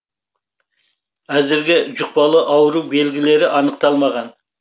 әзірге жұқпалы ауру белгілері анықталмаған